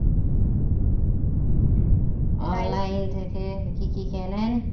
online থেকে কি কি কেনেন